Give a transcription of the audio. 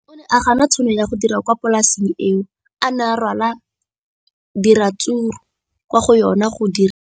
O ne a gana tšhono ya go dira kwa polaseng eo a neng rwala diratsuru kwa go yona go di rekisa.